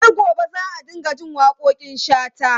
Har gobe za a dinga jin waƙoƙin Shata.